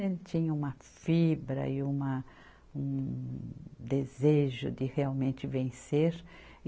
Ele tinha uma fibra e uma, um desejo de realmente vencer.